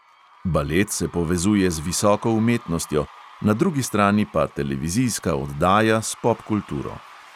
Balet se povezuje z visoko umetnostjo, na drugi strani pa televizijska oddaja s popkulturo.